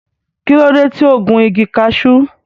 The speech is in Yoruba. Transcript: Kí ló dé tí o gun igi cashew?